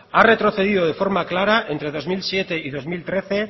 ha retrocedido de forma clara entre dos mil siete y dos mil trece